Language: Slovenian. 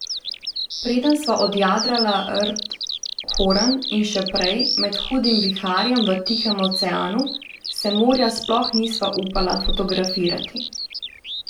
Preden sva objadrala rt Horn, in še prej, med hudim viharjem v Tihem oceanu, se morja sploh nisva upala fotografirati.